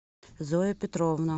зоя петровна